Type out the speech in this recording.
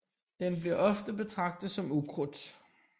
Den bliver ofte betragtet som ukrudt